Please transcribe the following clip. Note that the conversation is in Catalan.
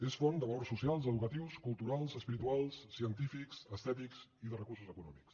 és font de valors socials educatius culturals espirituals cien tífics estètics i de recursos econòmics